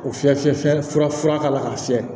O fiyɛ fiyɛ fiyɛ fura k'a la k'a fiyɛ